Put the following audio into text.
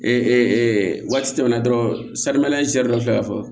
waati tɛmɛna dɔrɔn dɔ filɛ ka fɔ